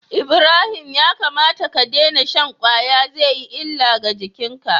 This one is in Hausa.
Ibrahim ya kamata ka daina shan kwaya zai yi illa ga jikinka